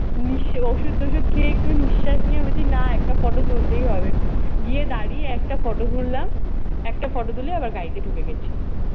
ওষুধ-টশুধ খেয়ে একটু নিশ্বাস নিয়ে আমি বলছি না একটা photo তুলতেই হবে। গিয়ে দাঁড়িয়ে একটা photo তুললাম। একটা photo তুলে আবার গাড়িতে ঢুকে গেছি।